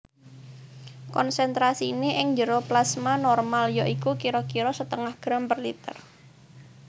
Konsentrasiné ing jero plasma normal ya iku kira kira setengah gram per liter